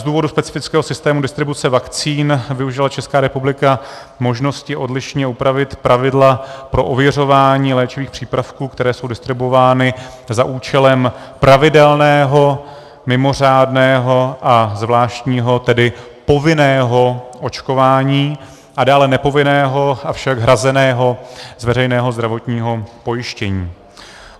Z důvodu specifického systému distribuce vakcín využila Česká republika možnosti odlišně upravit pravidla pro ověřování léčivých přípravků, které jsou distribuovány za účelem pravidelného, mimořádného a zvláštního - tedy povinného - očkování a dále nepovinného, avšak hrazeného z veřejného zdravotního pojištění.